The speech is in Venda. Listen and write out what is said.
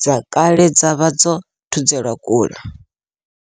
dze kale dza vha dzo thudzelwa kule.